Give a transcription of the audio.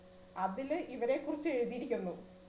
അതില് ഇവരെക്കുറിച്ചു എഴുതിയിരിക്കുന്നു